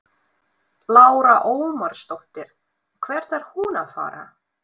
Lára Ómarsdóttir: Og hvert er hún að fara?